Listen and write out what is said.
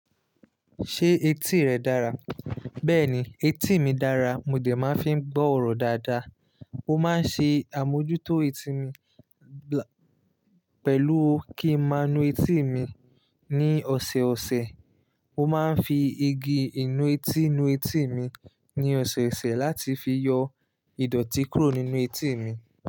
Ṣé etí rẹ dára? Bẹ́ẹ̀ni, etí mi dára, mo dè máa ń fi gbọ́ ọ̀rọ̀ dáadáa. Ó máa ń ṣe àmójútó etí mi pẹ̀lú kí ń máa nu etí mi ní ọ̀sọ̀ọ̀sẹ̀. Mo máa ń fi igi ìnu etí nu etí mi ní ọ̀sọ̀ọ̀sẹ̀ láti fi yọ ìdọ̀tí kúrò nínú etí mi.